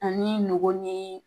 Ani nɔgɔ nii